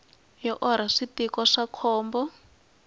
yi orha switiko swa khombo